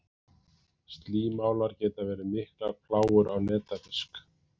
Slímálar geta verið miklar plágur á netafisk.